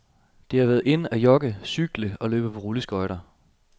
Det har været in at jogge, cykle og løbe på rulleskøjter.